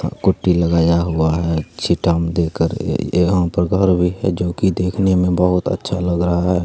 क-कुट्टी लगाया हुआ है छिटटा में देकर यहाँ पे घर भी है जोकि देखने में बहुत ही अच्छा लग रहा है।